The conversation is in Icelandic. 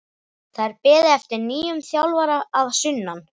Það er beðið eftir nýjum þjálfara að sunnan.